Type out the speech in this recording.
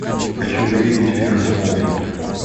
хочу увидеть фильм смолфут